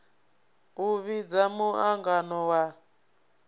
u vhidza mu angano wa